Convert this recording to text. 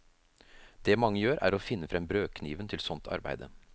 Det mange gjør, er å finne frem brødkniven til sånt arbeide.